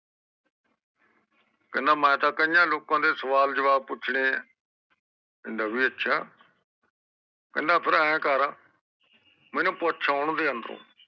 ਕੇਹਂਡਾ ਮੈਂ ਤਾ ਕਾਇਆ ਲੋਕ ਦੇ ਸਵਾਲ ਜਵਾਬ ਪੁੱਛਣੇ ਆ ਕਹਿੰਦਾ ਵੀ ਅੱਛਾ ਕਹਿੰਦਾ ਫੇਰ ਇਹ ਕਰ ਮੇਨੂ ਪੁੱਛ ਆਉਣ ਦੇ ਅੰਦਰੋਂ